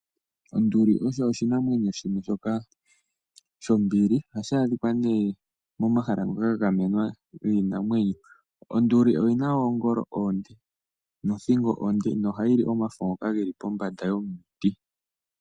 Onduli osho oshinamwenyo shoka shombili oha shi adhika nee momahala ngoka gagamenwa giinamwenyo. Onduli oyi na wo oongolo oonde nothingo onde noha yi li omafo ngoka geli pombanda yomiti.